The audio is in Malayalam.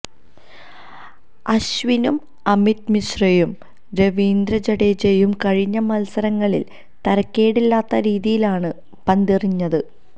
അശ്വിനും അമിത് മിശ്രയും രവീന്ദ്ര ജഡേജയും കഴിഞ്ഞ മത്സരങ്ങളില് തരക്കേടില്ലാത്തരീതിയിലാണ് പന്തെറിഞ്ഞത്